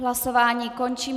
Hlasování končím.